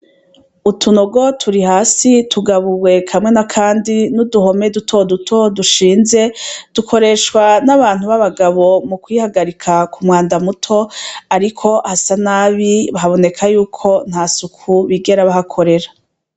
Utunogo turi hasi tugabuwe kamwe na, kandi n'uduhome dutoduto dushinze dukoreshwa n'abantu b'abagabo mu kwihagarika ku mwanda muto, ariko hasa nabi baboneka yuko nta suku bigera bahakorera.